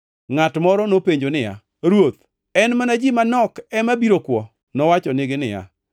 Ngʼato moro nopenjo niya, “Ruoth, en mana ji manok ema biro kwo?” Nowachonigi niya,